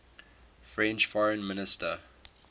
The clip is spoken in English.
french foreign minister